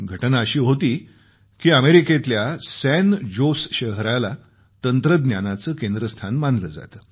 घटना अशी होती की अमेरिकेतल्या सॅन जोस शहराला तंत्रज्ञानाचं केंद्रस्थान मानलं जातं